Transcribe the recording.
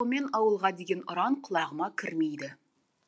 ауылға деген ұран құлағыма кірмейді